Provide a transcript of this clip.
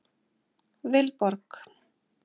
Vilborg